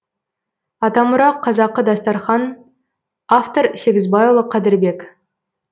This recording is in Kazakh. атамұра қазақы дастархан автор сегізбайұлы қадірбек